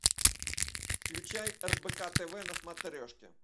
включай рбк тв на смотрешке